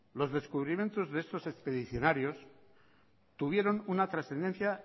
los descubrimientos de estos expedicionarios tuvieron una trascendencia